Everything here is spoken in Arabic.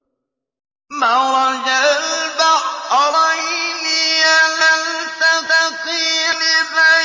مَرَجَ الْبَحْرَيْنِ يَلْتَقِيَانِ